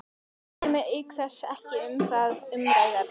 Kæri mig auk þess ekki um það umræðuefni.